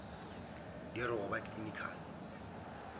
di re go ba clinical